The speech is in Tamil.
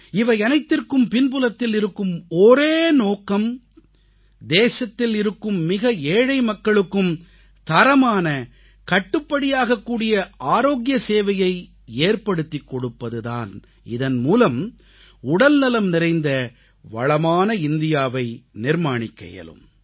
இவையனைத்திற்கும் பின்புலத்தில் இருக்கும் ஒரே நோக்கம் தேசத்தில் இருக்கும் மிக ஏழை மக்களுக்கும் தரமான கட்டுப்படியாகக்கூடிய ஆரோக்கிய சேவையை ஏற்படுத்திக் கொடுப்பது தான் இதன் மூலம் உடல்நலம் நிறைந்த வளமான இந்தியாவை நிர்மாணிக்க இயலும்